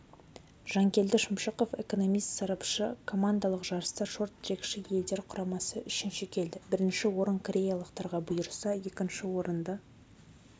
жанкелді шымшықов экономист-сарапшы командалық жарыста шорт-трекші йелдер құрамасы үшінші келді бірінші орын кореялықтарға бұйырса екінші орынды